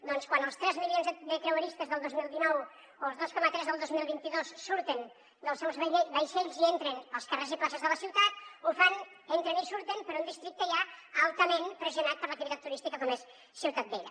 doncs quan els tres milions de creueristes del dos mil dinou o els dos coma tres del dos mil vint dos surten dels seus vaixells i entren als carrers i places de la ciutat ho fan entren i surten per un districte ja altament pressionat per l’activitat turística com és ciutat vella